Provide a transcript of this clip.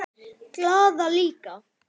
Glaða líka.